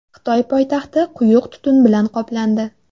Xitoy poytaxti quyuq tutun bilan qoplandi .